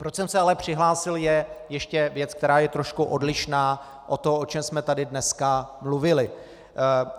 Proč jsem se ale přihlásil, je ještě věc, která je trošku odlišná od toho, o čem jsme tady dneska mluvili.